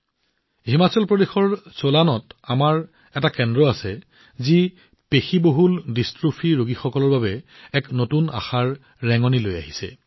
হিমাচল প্ৰদেশৰ চোলানত আমাৰ এনে এটা কেন্দ্ৰ আছে যি মাস্কুলাৰ ডিষ্ট্ৰোফিৰ ৰোগীসকলৰ বাবে এক নতুন আশাৰ কিৰণ হৈ পৰিছে